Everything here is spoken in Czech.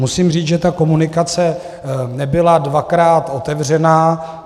Musím říct, že ta komunikace nebyla dvakrát otevřená.